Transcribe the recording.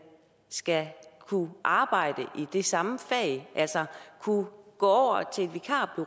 skal kunne arbejde i det samme fag altså kunne gå